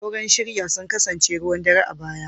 Auren shirya sun kasance ruwan dare a baya.